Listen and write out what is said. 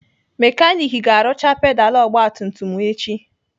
Mekanik ga-arụcha pedalụ ogbatumtum m echi.